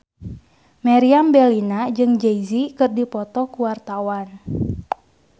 Meriam Bellina jeung Jay Z keur dipoto ku wartawan